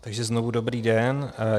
Takže znovu dobrý den.